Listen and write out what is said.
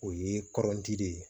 O ye kɔrɔnti de ye